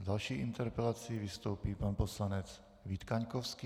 S další interpelací vystoupí pan poslanec Vít Kaňkovský.